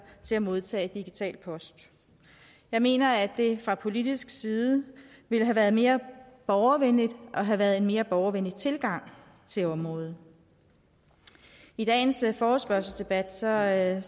til at modtage digital post jeg mener at det fra politisk side ville have været mere borgervenligt og havde været en mere borgervenlig tilgang til området i dagens forespørgselsdebat ser jeg